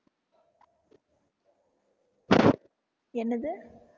என்னது